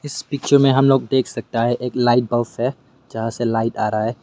इस पिक्चर में हम लोग देख सकता है एक लाइट बल्ब है जहां से लाइट आ रहा है।